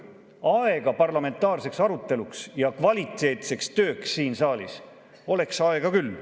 Aega parlamentaarseks aruteluks ja kvaliteetseks tööks siin saalis oleks küll.